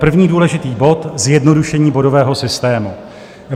První důležitý bod, zjednodušení bodového systému.